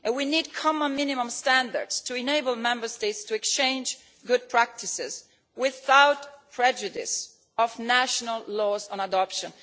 We need common minimum standards to enable Member States to exchange good practices without prejudice to national laws on adoption.